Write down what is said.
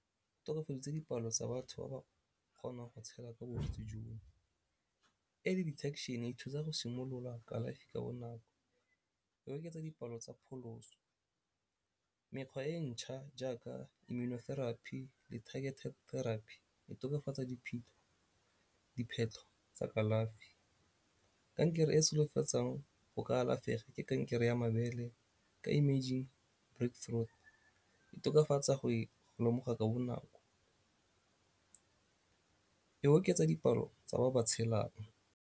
Tokafaditse dipalo tsa batho ba ba kgonang go tshela ka bolwetse jo. Early detection e thusa go simolola kalafi ka bonako, e oketsa dipalo tsa pholoso mekgwa e ntšha jaaka immunotherapy le targeted therapy e tokafatsa diphetlho tsa kalafi. Kankere e solofetsang go ka alafega ke kankere ya mabele ka e tokafatsa go e lemoga ka bonako, e oketsa dipalo tsa ba ba tshelang.